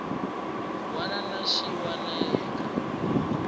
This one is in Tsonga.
wana na xin wana eka